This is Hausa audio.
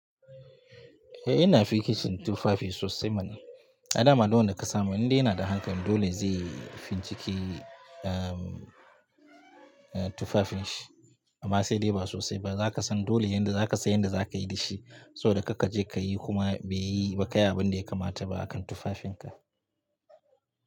Eh ina fikicin tufafi sosai mana. A da ma duk wanda ka samu indai yana da hankali, dole zai finciki tufafin shi. Amma sai dai ba sosai ba, za ka san dole yadda za ka san yadda za ka yi da shi, saboda kar kaje ka yi kuma bai yi, ba kayi abin da ya kamata ba akan tufafinka.